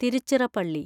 Tiruchirappalli